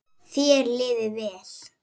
Þér liði vel.